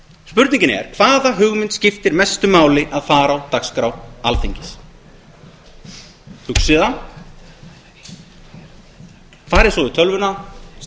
spurningin er hvaða hugmynd skiptir mestu máli að fari á dagskrá alþingis hugsið það farið svo í tölvuna